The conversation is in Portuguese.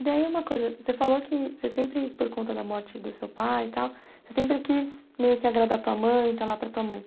E daí uma coisa, você falou que você sempre, por conta da morte do seu pai e tal, você sempre quis meio que agradar a tua mãe, estar lá para a tua mãe.